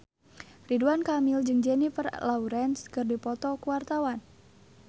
Ridwan Kamil jeung Jennifer Lawrence keur dipoto ku wartawan